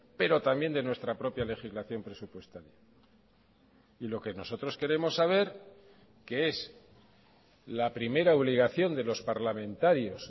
pero también de nuestra propia legislación presupuestaria y lo que nosotros queremos saber que es la primera obligación de los parlamentarios